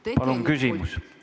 Palun küsimus!